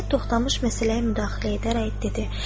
Nəhayət Toxtamış məsələyə müdaxilə edərək dedi: